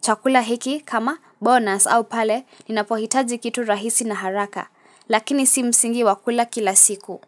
chakula hiki kama bonus au pale ninapohitaji kitu rahisi na haraka. Lakini si msingi wa kula kila siku.